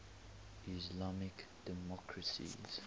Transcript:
islamic democracies